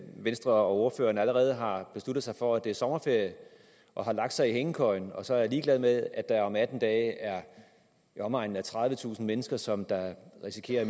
venstre og ordføreren allerede har besluttet sig for at det er sommerferie og har lagt sig i hængekøjen og så er ligeglade med at der om atten dage er i omegnen af tredivetusind mennesker som risikerer at